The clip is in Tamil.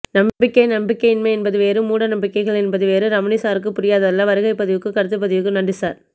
நம்பிக்கை நம்பிக்கையின்மை என்பது வேறு மூட நம்பிக்கைகள் என்பது வேறு ரமணிசாருக்குப் புரியாததல்ல வருகைக்கும் கருத்துப்பதிவுக்கும் நன்றி சார்